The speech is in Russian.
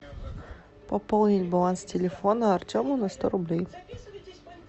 пополнить баланс телефона артему на сто рублей